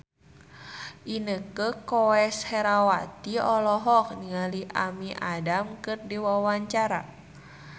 Inneke Koesherawati olohok ningali Amy Adams keur diwawancara